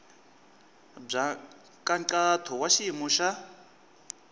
bya nkhaqato wa xiyimo xa